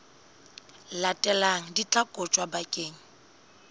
latelang di tla kotjwa bakeng